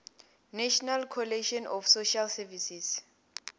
national coalition of social services